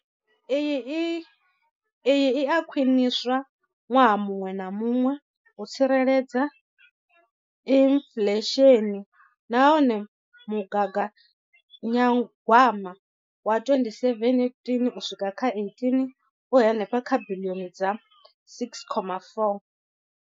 Iyi i a khwiniswa ṅwaha muṅwe na muṅwe u tsireledza inflesheni nahone mugaganyagwama wa 2017 uswika kha18 u henefha kha biḽioni dza R6.4.